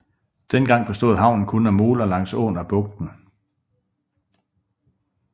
Dengang bestod havnen kun af moler langs åen og bugten